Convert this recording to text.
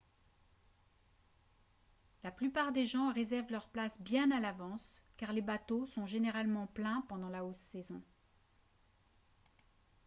la plupart des gens réservent leur place bien à l’avance car les bateaux sont généralement pleins pendant la haute saison